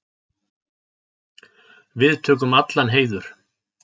Við tökum allan heiður.